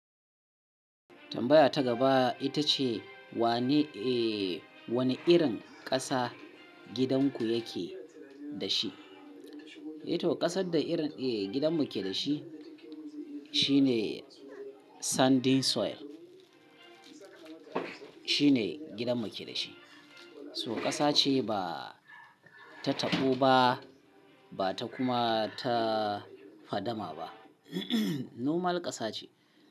Tambaya ta gaba ita ce wane, eh, wane irin ƙasa gidan ku yake da shi? Eh to ƙasar da irin, eh, gidanmu ke da shi shine Sandy soil. Shine gidanmu ke da shi. So ƙasa ce ba ta taɓo ba, ba ta kuma ta fadama ba. Normal ƙasa ce.